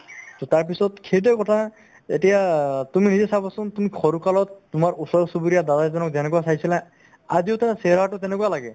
to তাৰপিছত সেইটোয়ে কথা এতিয়া অ তুমি নিজে চাবা চোন তুমি সৰুকালত তোমাৰ ওচৰ-চুবুৰীয়া দাদা এজনক যেনেকুৱা চাইছিলা আজিও তাৰ চেহেৰাতো তেনেকুৱা লাগে